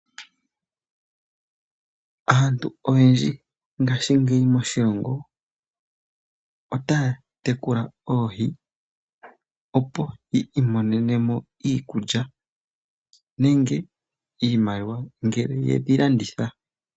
Aantu oyendji ngaashingeyi moshilongo otaya tekula oohi, opo yi imonene mo iikulya nenge iimaliwa ngele yedhi landitha.